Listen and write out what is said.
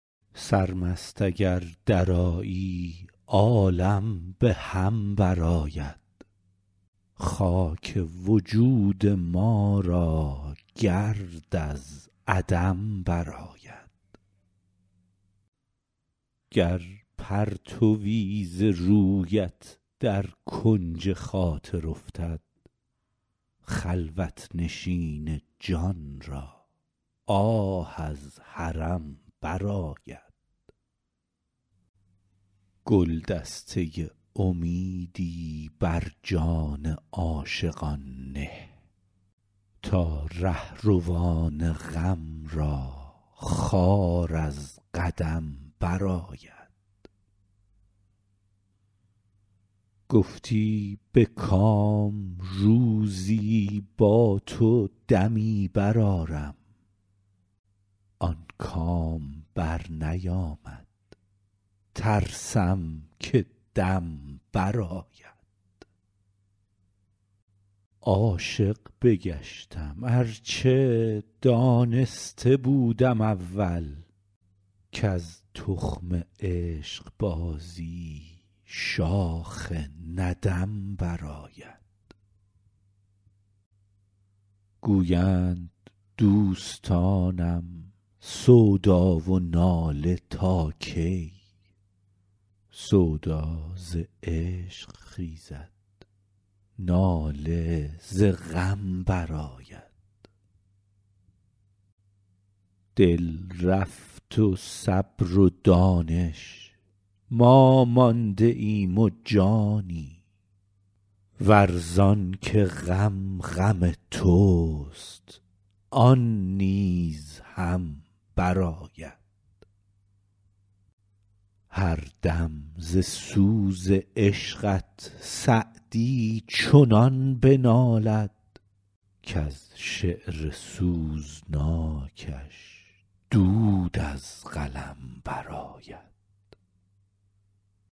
سرمست اگر درآیی عالم به هم برآید خاک وجود ما را گرد از عدم برآید گر پرتوی ز رویت در کنج خاطر افتد خلوت نشین جان را آه از حرم برآید گلدسته امیدی بر جان عاشقان نه تا رهروان غم را خار از قدم برآید گفتی به کام روزی با تو دمی برآرم آن کام برنیامد ترسم که دم برآید عاشق بگشتم ار چه دانسته بودم اول کز تخم عشقبازی شاخ ندم برآید گویند دوستانم سودا و ناله تا کی سودا ز عشق خیزد ناله ز غم برآید دل رفت و صبر و دانش ما مانده ایم و جانی ور زان که غم غم توست آن نیز هم برآید هر دم ز سوز عشقت سعدی چنان بنالد کز شعر سوزناکش دود از قلم برآید